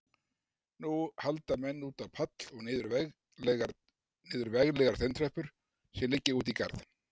Nú halda menn út á pall og niður veglegar steintröppur sem liggja út í garð.